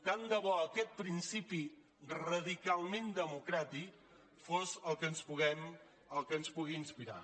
tant de bo aquest principi radicalment democràtic fos el que ens pugui inspirar